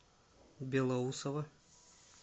белоусово